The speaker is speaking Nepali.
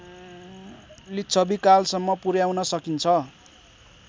लिच्छविकालसम्म पुर्‍याउन सकिन्छ